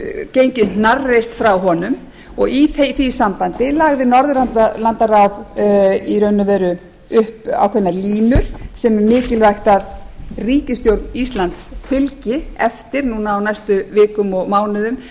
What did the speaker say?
gengið hnarreist frá honum og í því sambandi lagði norðurlandaráð í raun og veru upp ákveðnar línur sem er mikilvægt að ríkisstjórn íslands fylgi eftir núna á næstu vikum og mánuðum